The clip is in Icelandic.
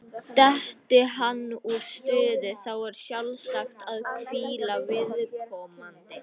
Detti hann úr stuði, þá er sjálfsagt að hvíla viðkomandi.